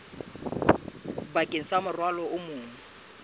bakeng sa morwalo o mong